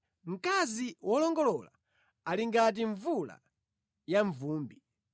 Mkazi wolongolola ali ngati mvula yamvumbi.